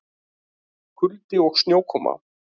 Kuldi og snjókoma